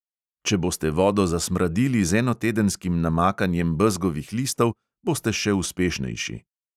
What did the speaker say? Če boste vodo zasmradili z enotedenskim namakanjem bezgovih listov, boste še uspešnejši.